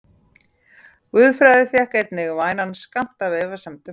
Guðfræði fékk einnig vænan skammt af efasemdum hans.